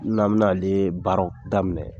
N'an bin'ale baara daminɛ